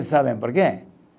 Sabem por quê?